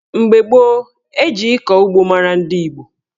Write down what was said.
Mgbe gboo, eji ịkọ ugbo mara ndị Igbo.